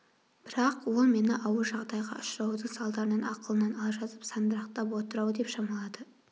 бірақ ол мені ауыр жағдайға ұшыраудың салдарынан ақылынан алжасып сандырақтап отыр-ау деп шамалады